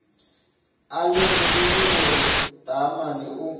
a lemogile gore taamane o